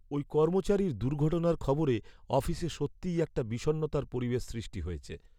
ওই কর্মচারীর দুর্ঘটনার খবরে অফিসে সত্যিই একটা বিষণ্ণতার পরিবেশ সৃষ্টি হয়েছে।